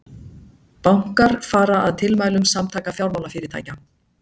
Bankar fara að tilmælum Samtaka fjármálafyrirtækja